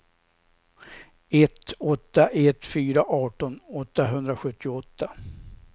ett åtta ett fyra arton åttahundrasjuttioåtta